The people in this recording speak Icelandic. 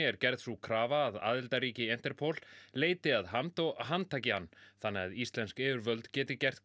er gerð sú krafa að aðildarríki Interpol leiti að Hamd og handtaki hann þannig að íslensk yfirvöld geti gert